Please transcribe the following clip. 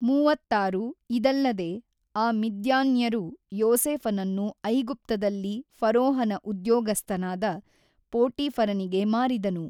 ಮೂವತ್ತಾರು ಇದಲ್ಲದೆ ಆ ಮಿದ್ಯಾನ್ಯರು ಯೋಸೇಫನನ್ನು ಐಗುಪ್ತದಲ್ಲಿ ಫರೋಹನ ಉದ್ಯೋಗಸ್ಥನಾದ ಪೋಟೀಫರನಿಗೆ ಮಾರಿದನು.